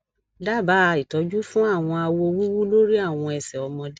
dabaa itọju fun awọn awo wuwu lori awọn ẹsẹ ọmọde